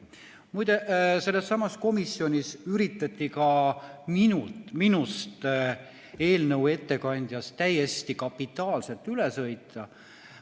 Muide, sellessamas komisjonis üritati ka minust, eelnõu ettekandjast täiesti kapitaalselt üle sõita.